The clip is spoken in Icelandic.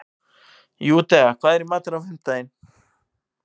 Júdea, hvað er í matinn á fimmtudaginn?